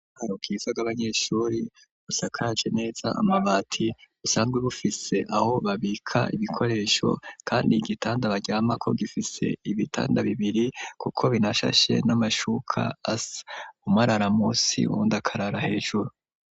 Naho kwizag'abanyeshuri usakaje neza amabati usanzwe bufise aho babika ibikoresho kandi igitanda baryama ko gifise ibitanda bibiri kuko binashashe n'amashuka asa, umwe arara musi uwundi akarara hejuru.